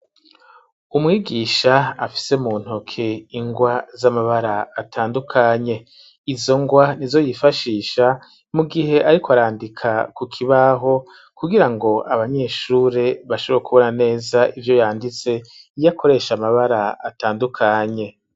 Umwigisha ,afise mu ntoke ingwa, z'amabara atandukanye ,izo ngwa nizo yifashisha, mu gihe ariko arandika ku kibaho ,kugira ngo abanyeshure bashobora kubona neza, ivyo yanditse ,iyakoresha amabara atandukanye.